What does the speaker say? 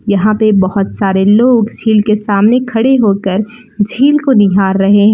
यहां पे बहुत सारे लोग झील के सामने खड़े होकर झील को निहार रहे हैं।